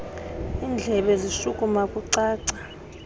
indlebe zishukuma kucaca